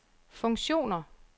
funktioner